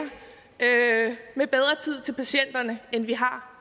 med bedre tid til patienterne end vi har